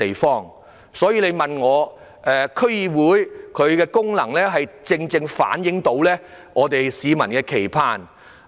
因此，我認為區議會的功能正是要反映市民的期盼。